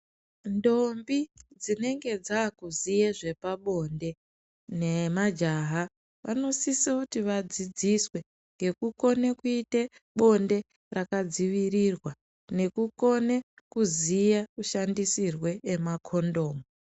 Ndombi dzinenge dzakuziye zvepabonde nemajaha vanosise kuti vadzidziswe ngekukona kuite bonde rakadzivirirwa nekukone kuziya kushandisirwe emakondomu.